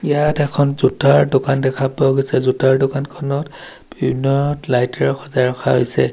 ইয়াত এখন জোতাৰ দোকান দেখা পোৱা গৈছে জোতাৰ দোকানখনত বিভিন্ন লাইটে এৰে সজাই ৰখা হৈছে।